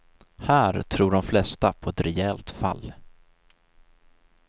Här tror de flesta på ett rejält fall.